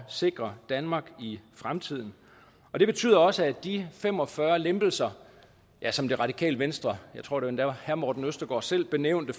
sikre danmark i fremtiden og det betyder også at de fem og fyrre lempelser som det radikale venstre jeg tror endda herre morten østergaard selv benævnte